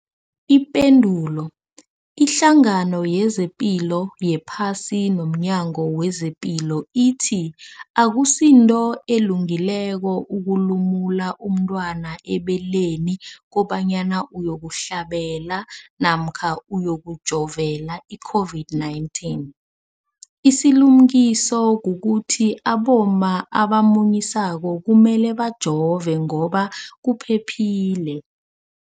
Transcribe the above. Ipendulo, iHlangano yezePilo yePhasi nomNyango wezePilo ithi akusinto elungileko ukulumula umntwana ebeleni kobanyana uyokuhlabela namkha uyokujovela i-COVID-19. Isilimukiso kukuthi abomma abamunyisako kumele bajove ngoba kuphephile.